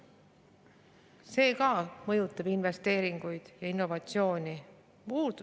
See mõjutab investeeringuid ja innovatsiooni.